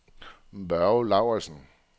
Børge Lauridsen